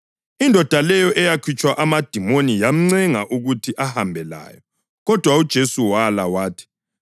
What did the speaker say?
Indoda leyo eyakhutshwa amadimoni yamncenga ukuthi ahambe layo, kodwa uJesu wala wathi,